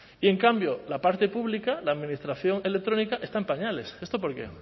y en cambio la parte pública la administración electrónica está en pañales esto por qué